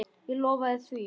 Ég lofaði því.